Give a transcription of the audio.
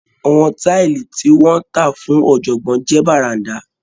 Àwọn táìlì tí wọn tà fún ọ̀jọ̀gbọ́n jẹ barandá.